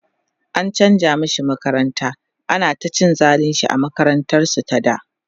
an chanza mashi makaranta, ana ta cin zalinshi a makarantar su ta da